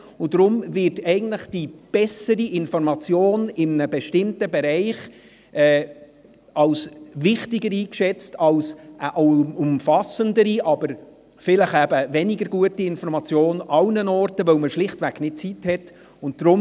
Deshalb wird die bessere Information in einem bestimmten Bereich als wichtiger erachtet als eine umfassendere, aber vielleicht weniger gute Information in allen Bereichen, weil man schlicht keine Zeit dafür hat.